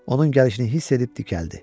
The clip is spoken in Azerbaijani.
Onun gəlişini hiss edib dikəldi.